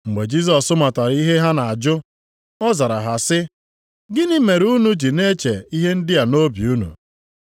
Mgbe Jisọs matara ihe ha na-ajụ, ọ zara ha sị, “Gịnị mere unu ji na-eche ihe ndị a nʼobi unu?